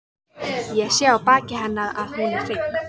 Ég sé á baki hennar að hún er hrygg.